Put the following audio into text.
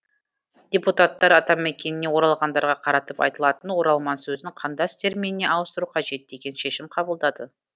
депутаттар атамекеніне оралғандарға қаратып айтылатын оралман сөзін қандас терминіне ауыстыру қажет деген шешім қабылдады